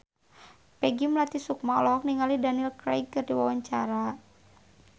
Peggy Melati Sukma olohok ningali Daniel Craig keur diwawancara